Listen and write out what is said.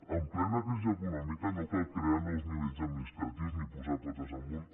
en plena crisi econòmica no cal crear nous nivells administratius ni posar potes amunt